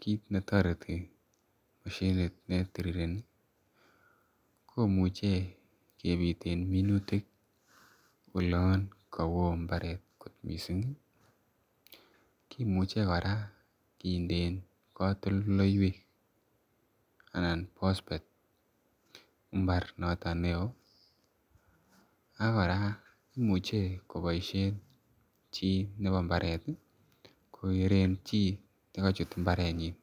kit netareti mashinit netirireni, komuche kebiten minutik olan , kaowo mbaret kot missing ih, kimuche kora kindeen katoltolleywek anan bosbet imbar nothon neo ak kora imuche kobaishien chi, nebo mbaret kokeren chi nekachut imbaretnyin.